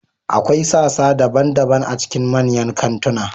Akwai sassa daban-daban a cikin manyan kantuna.